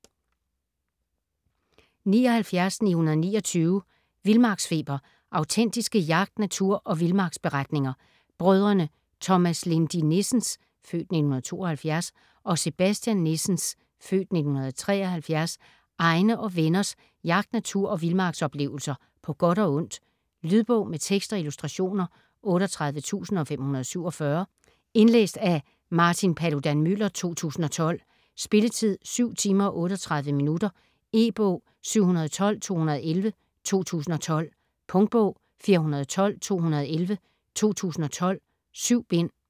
79.929 Vildmarksfeber: autentiske jagt-, natur- og vildmarksberetninger Brødrene Thomas Lindy Nissens (f. 1972) og Sebastian Nissens (f. 1973) egne og venners jagt-, natur- og vildmarksoplevelser på godt og ondt. Lydbog med tekst og illustrationer 38547 Indlæst af Martin Paludan-Müller, 2012. Spilletid: 7 timer, 38 minutter. E-bog 712211 2012. Punktbog 412211 2012. 7 bind.